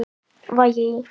Vægi í